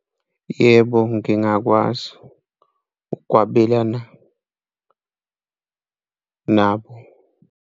Yebo, ngingakwazi ukwabelana nabo.